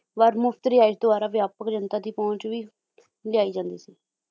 ਵਾਰ ਮੁਫ਼ਤ ਰਿਹਾਇਸ਼ ਦੁਆਰਾ ਵਿਆਪਕ ਜਨਤਾ ਦੀ ਪਹੁੰਚ ਵੀ ਲਿਆਈ ਜਾਂਦੀ ਸੀ